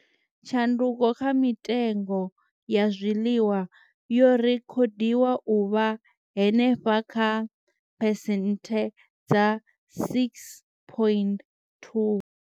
Tshanduko kha mitengo ya zwiḽiwa yo rekhodiwa u vha henefha kha phesenthe dza 6.2.